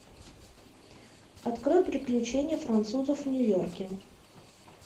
открой приключения французов в нью йорке